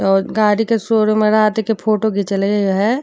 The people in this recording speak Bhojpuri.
और गाड़ी के शोरूम है राती के फोटो घीचलय हय।